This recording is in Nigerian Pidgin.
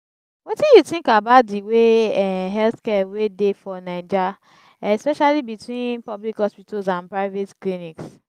wetin you think about di way um healthcare wey dey for naija especially between public hospitals and private clinics?